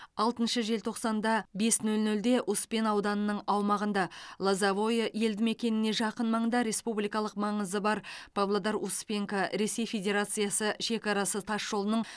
алтыншы желтоқсанда бес нөл нөлде успен ауданының аумағында лозовое елді мекеніне жақын маңда республикалық маңызы бар павлодар успенка ресей федерациясы шекарасы тасжолының